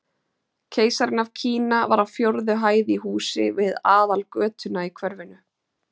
Keisarinn af Kína var á fjórðu hæð í húsi við aðalgötuna í hverfinu.